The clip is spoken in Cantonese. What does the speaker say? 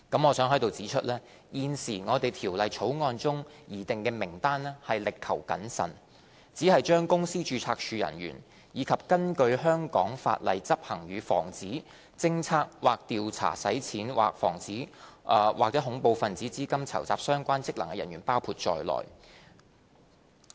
我想在此指出，現時《條例草案》中擬訂的名單已力求謹慎，只把公司註冊處人員，以及根據香港法例執行與防止、偵測或調查洗錢或恐怖分子資金籌集相關職能的人員包括在內。